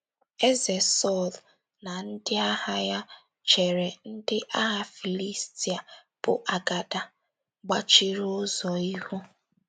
Eze Sọl na ndị agha ya chere ndị agha Filistia bụ́ agada gbachiri ụzọ ihu.